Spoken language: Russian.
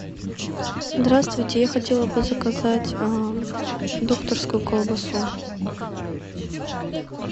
здравствуйте я хотела бы заказать докторскую колбасу